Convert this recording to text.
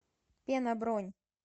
пена бронь